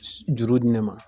S juru di ne ma